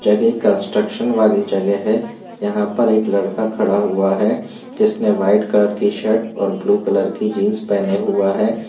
जगह कन्स्ट्रक्शन वाली जगह है। यहाँ पर एक लड़का खड़ा हुआ है जिसने व्हाइट कलर की शर्ट और ब्लू कलर की जीन्स पेहने हुआ है।